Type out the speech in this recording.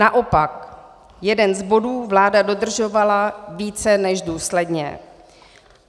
Naopak, jeden z bodů vláda dodržovala více než důsledně.